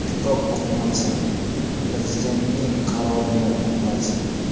Kitob o‘qimaysan, Prezidentning qarorini o‘qimaysan.